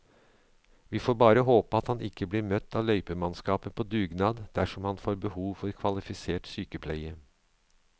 Vi får bare håpe at han ikke blir møtt av løypemannskaper på dugnad dersom han får behov for kvalifisert sykepleie.